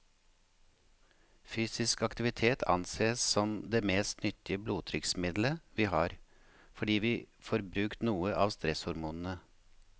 Fysisk aktivitet ansees som det mest nyttige blodtrykksmiddelet vi har, fordi vi får brukt noe av stresshormonene.